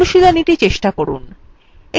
অনুশীলনীtry চেষ্টা করুন